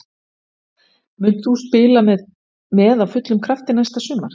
Munt þú spila með á fullum krafti næsta sumar?